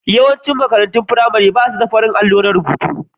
Yawaicin makarantun firamare ba su da farin allo na rubutu.